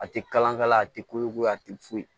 A tɛ kalan kala a tɛ koko ye a tɛ foyi